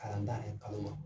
Kalan ta ɛɛ kalo ma.